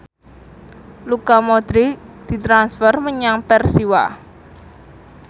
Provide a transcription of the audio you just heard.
Luka Modric ditransfer menyang Persiwa